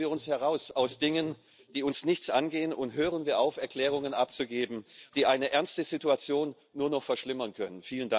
Halten wir uns heraus aus Dingen, die uns nichts angehen, und hören wir auf, Erklärungen abzugeben, die eine ernste Situation nur noch verschlimmern können.